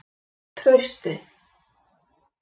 Trausti